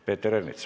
Peeter Ernits.